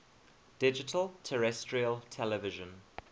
digital terrestrial television